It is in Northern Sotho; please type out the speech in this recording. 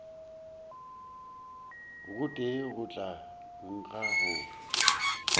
gotee go tla nkga go